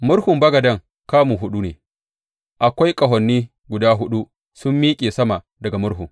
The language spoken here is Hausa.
Murhun bagaden kamu huɗu ne, akwai ƙahoni guda huɗu sun miƙe sama daga murhun.